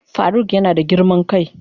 Faruk yana da girman kai.